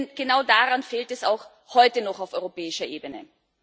Denn genau daran fehlt es auch heute noch auf europäischer Ebene.